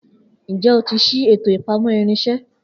Njẹ o ti ṣii eto ipamọ irinṣẹ?